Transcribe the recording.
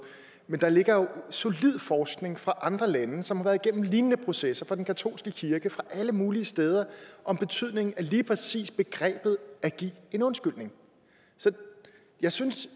men der ligger jo solid forskning fra andre lande som har været gennem lignende processer til den katolske kirke og fra alle mulige steder om betydningen af lige præcis begrebet at give en undskyldning så jeg synes